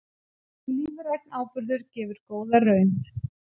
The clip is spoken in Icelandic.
Lífrænn áburður gefur góða raun